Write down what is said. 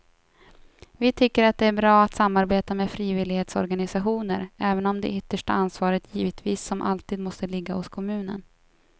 Vi tycker att det är bra att samarbeta med frivillighetsorganisationer även om det yttersta ansvaret givetvis som alltid måste ligga hos kommunen.